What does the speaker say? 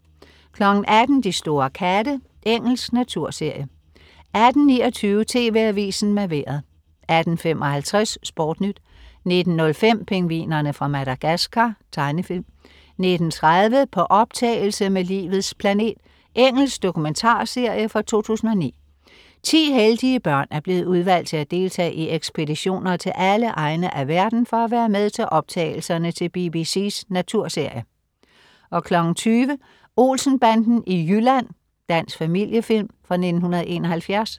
18.00 De store katte. Engelsk naturserie 18.29 TV AVISEN med Vejret 18.55 SportNyt 19.05 Pingvinerne fra Madagascar. Tegnefilm 19.30 På optagelse med Livets planet. Engelsk dokumentarserie fra 2009.Ti heldige børn er blevet udvalgt til at deltage i ekspeditioner til alle egne af verden for at være med til optagelserne til BBC's naturserie 20.00 Olsen-banden i Jylland. Dansk familiefilm fra 1971